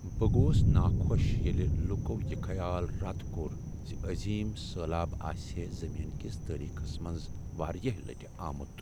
بہٕ گوس ناخوش ییٚلہ لوکو یہ خیال رد کوٚر ز عظیم سیلاب آسہے زمین کس تٲریخس میز واریاہ لٹہ آمت۔